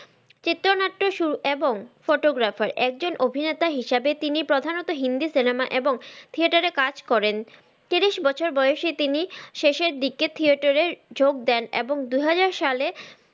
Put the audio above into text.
চিত্রনাট্যে এবং photographer একজন অভিনেতা হিসেবে তিনি প্রধানত হিন্দি সিনেমা এবং থিয়েটারে কাজ করেন তিরিশ বছর বয়সে তিনি শেষের দিকে থিয়েটারে যোগ দেন এবং দুহাজার সালে